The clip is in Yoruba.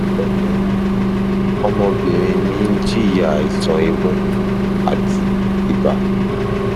ẹ ǹlẹ o ọmọbìnrin mi ń jìyà àìsàn imú àti ibà